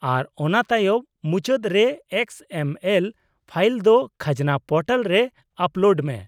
-ᱟᱨ ᱚᱱᱟ ᱛᱟᱭᱚᱢ ᱢᱩᱪᱟᱹᱫ ᱨᱮ ᱮᱠᱥ ᱮᱢ ᱮᱞ ᱯᱷᱟᱭᱤᱞ ᱫᱚ ᱠᱷᱟᱡᱽᱱᱟ ᱯᱳᱨᱴᱟᱞ ᱨᱮ ᱟᱯᱞᱳᱰ ᱢᱮ ᱾